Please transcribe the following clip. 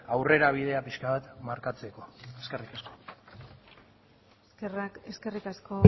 aurrerabidea pixka bat markatzeko eskerrik asko eskerrik asko